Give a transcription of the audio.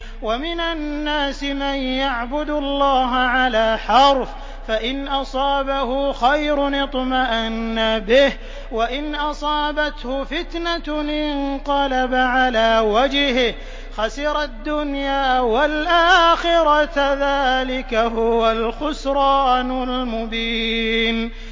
وَمِنَ النَّاسِ مَن يَعْبُدُ اللَّهَ عَلَىٰ حَرْفٍ ۖ فَإِنْ أَصَابَهُ خَيْرٌ اطْمَأَنَّ بِهِ ۖ وَإِنْ أَصَابَتْهُ فِتْنَةٌ انقَلَبَ عَلَىٰ وَجْهِهِ خَسِرَ الدُّنْيَا وَالْآخِرَةَ ۚ ذَٰلِكَ هُوَ الْخُسْرَانُ الْمُبِينُ